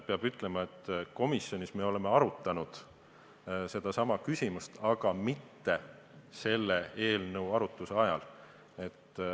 Peab ütlema, et komisjonis me oleme seda küsimust arutanud, aga mitte seda eelnõu käsitledes.